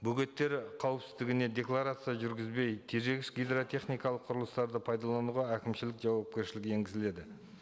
бөгеттері қауіпсіздігіне декларация жүргізбей тежегіш гидротехникалық құрылыстарды пайдалануға әкімшілік жауапкершілік енгізіледі